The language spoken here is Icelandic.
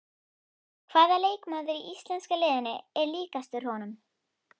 Hvaða leikmaður í íslenska liðinu er líkastur honum?